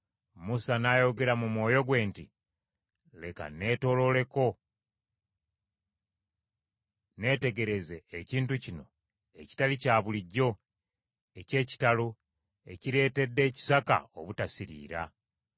Musa n’ayogera mu mwoyo gwe nti, “Leka nneetoolooleko neetegereze ekintu kino ekitali kya bulijjo, eky’ekitalo, ekireetedde ekisaka obutasiriira.”